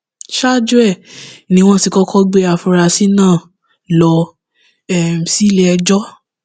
ṣáájú um ni wọn ti kọkọ gbé àfúrásì náà lọ um sílé ẹjọ